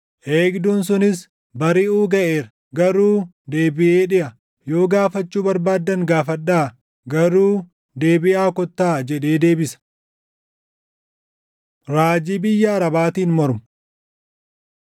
Eegduun sunis, “Bariʼuu gaʼeera; garuu deebiʼee dhiʼa. Yoo gaafachuu barbaaddan gaafadhaa; garuu deebiʼaa kottaa” jedhee deebisa. Raajii Biyya Arabaatiin Mormu